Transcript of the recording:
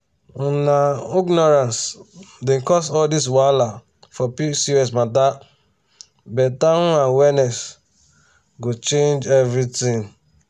um na ignorance dey cause all this wahala for pcos matter better um awareness go change everything.